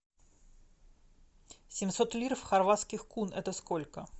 семьсот лир в хорватских кун это сколько